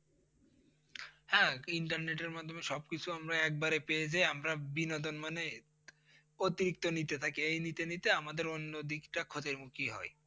হ্যাঁ internet এর মাধ্মে সব কিছু আমরা এক বারে পেয়ে যাই আমরা বিনোদন মানে অতিরিক্ত নিতে থাকি এই নিতে নিতে আমাদের অন্য দিকটা ক্ষতির মুখি হয়।